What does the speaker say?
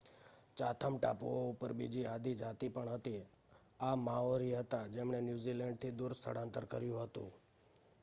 Chatham ટાપુઓ ઉપર બીજી આદિ જાતિ પણ હતી આ માઓરી હતા જેમણે ન્યુઝીલેન્ડ થી દૂર સ્થળાંતર કર્યું હતું